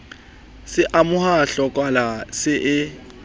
se amoha tlokola se e